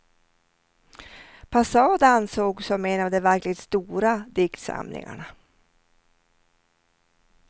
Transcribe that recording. Passad ansågs som en av de verkligt stora diktsamlingarna.